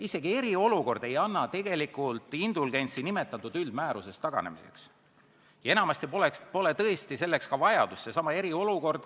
" Isegi eriolukord ei anna indulgentsi nimetatud üldmäärusest taganemiseks ja enamasti pole selleks ka vajadust.